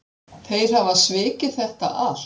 Þeir hafa svikið þetta allt